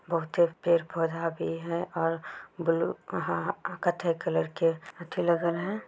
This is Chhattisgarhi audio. बोहोते पेड़ पौधा भी है और ब्लू अहाहा अ कत्थई कलर के अच्छे लगल हैं।